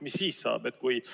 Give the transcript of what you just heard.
Mis siis saab?